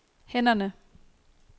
hænderne